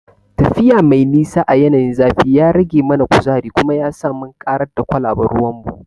Tafiya mai nisa a yanayin zafi ya rage mana kuzari kuma yasa mun karar da kwalaben ruwanmu.